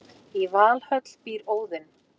Í Valhöll býr Óðinn.